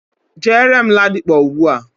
Jere m Ladipo ugbua.